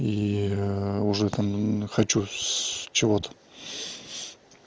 и уже там хочу чего-то